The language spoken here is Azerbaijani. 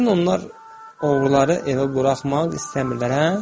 Yəqin onlar oğruları evə buraxmaq istəmirlər, hə?